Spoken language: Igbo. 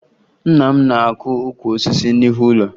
Nna m na-akụ ukwu osisi n'ihu ụlọ